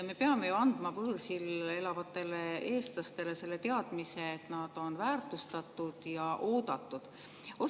Me peame andma võõrsil elavatele eestlastele selle teadmise, et nad on väärtustatud ja oodatud.